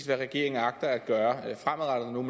regeringen agter at gøre